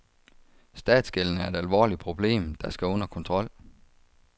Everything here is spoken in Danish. Statsgælden er et alvorligt problem, der skal under kontrol.